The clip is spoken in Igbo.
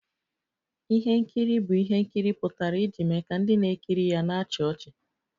Ihe nkiri bụ ihe nkiri pụtara iji mee ka ndị na-ekiri ya na-achị ọchị